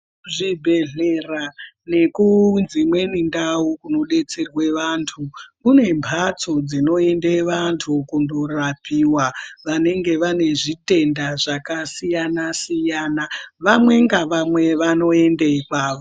Zvibhedhlera neku dzimweni ndau dzinodetserwa vantu kune mbatso dzinoende vantu kunorapiwa vanonga vane zvitendaa zvakasiyana-siyana vanwe nge vanwe vanoenda kwavo.